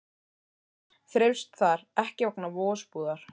Lús þreifst þar ekki vegna vosbúðar.